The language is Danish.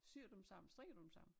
Syer du dem sammen strikker du dem sammen?